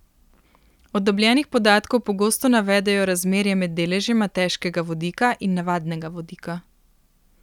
Od dobljenih podatkov pogosto navedejo razmerje med deležema težkega vodika in navadnega vodika.